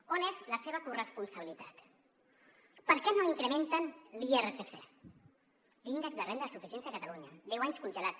on és la seva corresponsabilitat per què no incrementen l’irsc l’índex de renda de suficiència de catalunya deu anys congelat